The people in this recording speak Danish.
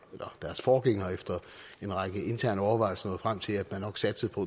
eller deres forgænger efter en række interne overvejelser nåede frem til at de nok satsede på